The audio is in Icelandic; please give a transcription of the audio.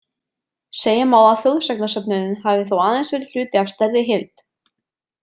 Segja má að þjóðsagnasöfnunin hafi þó aðeins verið hluti af stærri heild.